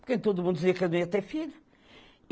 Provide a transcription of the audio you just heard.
Porque todo mundo dizia que eu não ia ter filho.